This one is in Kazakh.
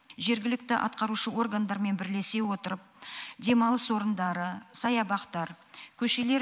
жергілікті атқарушы органдармен бірлесе отырып демалыс орындары саябақтар көшелер